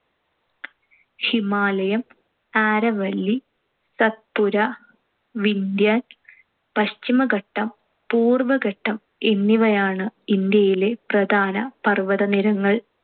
ഹിമാലയം, ആരവല്ലി, സത്പുര, വിന്ധ്യൻ, പശ്ചിമഘട്ടം, പൂർ‌വ്വഘട്ടം എന്നിവയാണ്‌ ഇന്ത്യയിലെ പ്രധാന പർ‌വ്വതനിരകൾ.